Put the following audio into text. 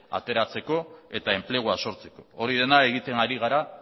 ateratzeko eta enplegua sortzeko hori dena egiten hari gara